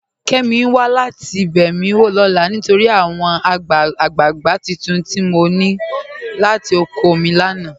Kẹ́mí n wà láti bẹ́ mi lọ́la nítorí àwọn agbàgbà tuntun tI mọ ní kọ̀ látì ọ̀kọ̀ mi lánà.